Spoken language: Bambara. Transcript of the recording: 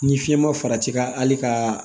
Ni fiɲɛ ma fara i ka hali ka